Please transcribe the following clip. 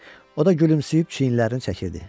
O da gülümsəyib çiyinlərini çəkirdi.